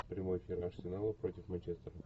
прямой эфир арсенала против манчестера